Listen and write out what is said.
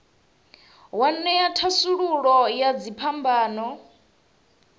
wa ṅea thasululo ya dziphambano